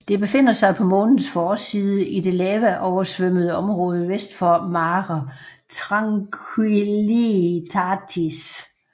Det befinder sig på Månens forside i det lavaoversvømmede område vest for Mare Tranquillitatis